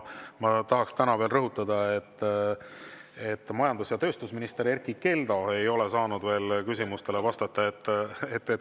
Ma tahan veel rõhutada, et majandus‑ ja tööstusminister Erkki Keldo ei ole saanud veel küsimustele vastata.